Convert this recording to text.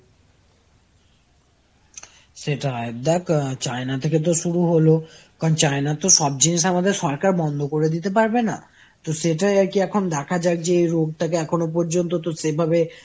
সেটাই দেখ China থেকে তো শুরু হল কারণ China র তো সব জিনিস আমাদের সরকার বন্ধ করে দিতে পারবে না, তো সেটাই র কি এখন দেখা যাক যে এই রোগ টাকে এখনো পর্যন্ত তো সেভাবে